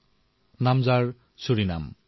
দেশখনৰ নাম হল ছুৰিনাম